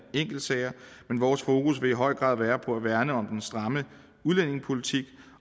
enkeltsager men vores fokus vil i høj grad være på at værne om den stramme udlændingepolitik